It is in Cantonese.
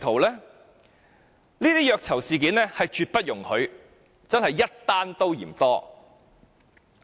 這些虐囚事件是絕不容許，真的是一宗也嫌多。